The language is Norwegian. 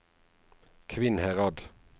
Kvinnherad